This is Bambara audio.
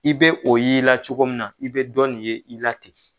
I be o y' i la cogo min na, i bi dɔ nin ye i la ten.